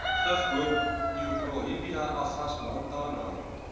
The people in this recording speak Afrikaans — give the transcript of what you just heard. gifboom euphorbia avasmantana